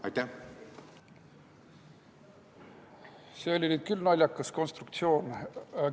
See oli nüüd küll naljakas konstruktsioon.